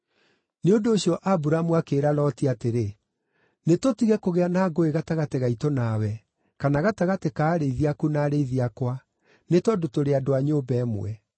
Nĩ ũndũ ũcio Aburamu akĩĩra Loti atĩrĩ, “Nĩtũtige kũgĩa na ngũĩ gatagatĩ gaitũ nawe, kana gatagatĩ ka arĩithi aku na arĩithi akwa, nĩ tondũ tũrĩ andũ a nyũmba ĩmwe.